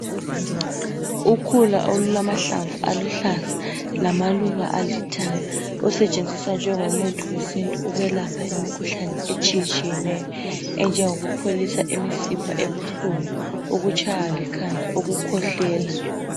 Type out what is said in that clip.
Ukhula olulamahlamvu aluhlaza lamaluba alithanga, olusetshenziswa njengomuthi wesintu ukwelapha imikhuhlane etshiyetshiyeneyo enjengokupholisa imisipha ebuhlungu, ukutshaywa likhanda, ukukhwehlela.